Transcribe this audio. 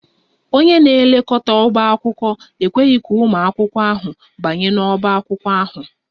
Onye na-elekọta ọbá akwụkwọ ekweghị ka ụmụ akwụkwọ ahụ banye n'ọbá akwụkwọ ahụ